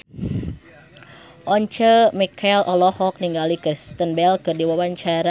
Once Mekel olohok ningali Kristen Bell keur diwawancara